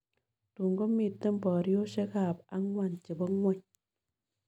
Tun komiten boriosiekap ang'wan che po ng'wony